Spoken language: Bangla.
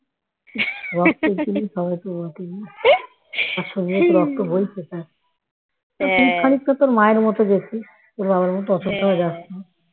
রক্তের জিনিস হবে তো বটেই না রক্ত বইছে না তুই খানিকটা তোর মায়ের মত গেছিস তোর বাবার মত অতটাও যাস নি